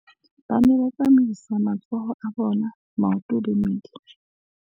ba ne ba tsamaisa matsoho a bona, maoto le mmele